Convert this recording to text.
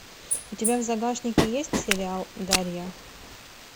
у тебя в загашнике есть сериал дарья